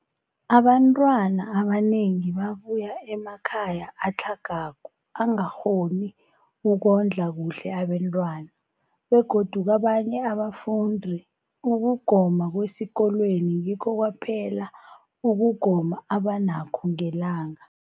Abantwana abanengi babuya emakhaya atlhagako angakghoni ukondla kuhle abentwana, begodu kabanye abafundi, ukugoma kwesikolweni ngikho kwaphela ukugoma abanakho ngelanga.